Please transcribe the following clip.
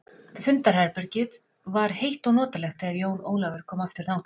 Fundarherbegið var heitt og notalegt þegar Jón Ólafur kom aftur þangað.